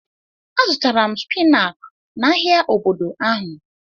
A zụtara m spinach n'ahia obodo ahụ.